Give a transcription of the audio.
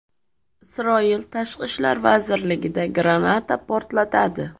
Isroil tashqi ishlar vazirligida granata portladi.